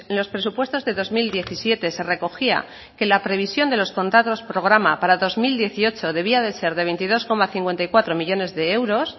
los presupuestos del dos mil diecisiete se recogía que la previsión de los contratos programa para el dos mil dieciocho debía de ser de veintidós coma cincuenta y cuatro millónes de euros